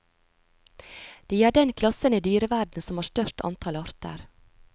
De er den klassen i dyreverden som har størst antall arter.